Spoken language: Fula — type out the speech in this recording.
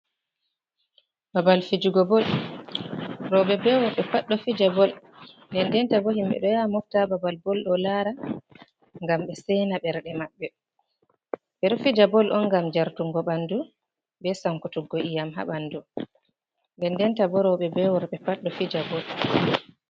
Babal fijugo bol. Rowɓe be worɓe pat ɗo fija bol. Nden denta bo himɓe ɗo yaha mofta ha babal bol ɗo laara, ngam be sena ɓerɗe maɓɓe. Ɓe ɗo fija bol on ngam jartungo ɓandu be sankutuggo iyam ha ɓandu. Ndendenta bo rowɓe be worɓe pat ɗo fija bol.